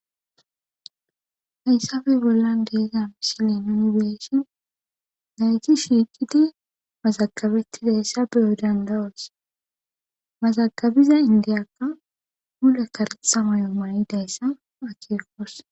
hayssafe bollan de'iza ምስለ nuni beshin nayti shiiqidi mazagabettidayssa beyo dandawas mazagabiza indiyakka hule karetha mayo manidayssa achikos